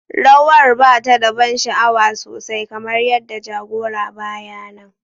Rawar ba ta da ban sha'awa sosai kamar yadda jagora ba ya nan.